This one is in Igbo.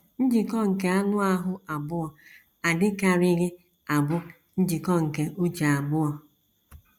Njikọ nke anụ ahụ́ abụọ adịkarịghị abụ njikọ nke uche abụọ.